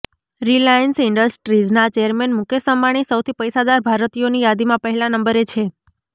Reliance ઈન્ડસ્ટ્રીઝના chairman Mukesh Ambani સૌથી પૈસાદાર ભારતીયોની યાદીમાં પહેલા નંબરે છે